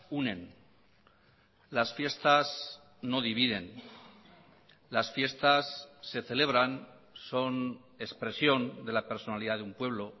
unen las fiestas no dividen las fiestas se celebran son expresión de la personalidad de un pueblo